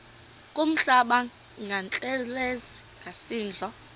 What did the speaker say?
kuhlamba ngantelezi nasidlo